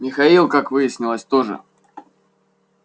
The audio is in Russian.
михаил как выяснилось тоже